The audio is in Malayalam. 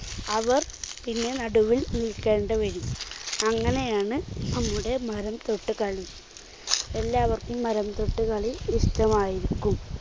അവർ പിന്നെ നടുവിൽ നിൽക്കേണ്ട വരും. അങ്ങനെയാണ് നമ്മുടെ മരം തൊട്ടുകളി. എല്ലാവർക്കും മരം തൊട്ടുകളി ഇഷ്ടമായിരിക്കും.